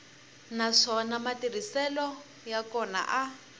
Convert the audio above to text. naswona matirhiselo ya kona a